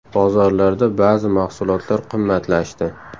Bozorlarda ba’zi mahsulotlar qimmatlashdi.